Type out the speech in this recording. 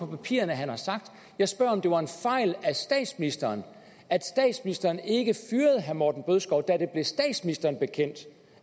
i papirerne at han har sagt jeg spørger om det var en fejl af statsministeren at statsministeren ikke fyrede herre morten bødskov da det blev statsministeren bekendt